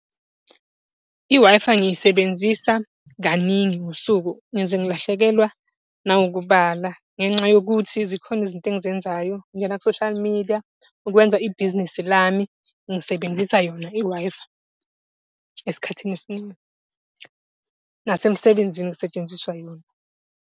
I-Wi-Fi ngiyisebenzisa kaningi ngosuku ngize ngilahlekelwa nawukubala, ngenxa yokuthi zikhona izinto engizenzayo. Ngingena ku-social media, ukwenza ibhizinesi lami ngisebenzisa yona i-Wi-Fi, esikhathini esiningi. Nasemsebenzini kusetshenziswa yona.